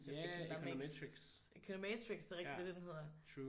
Ja econometrics